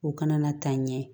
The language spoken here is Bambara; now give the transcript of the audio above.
U kana na taa ɲɛ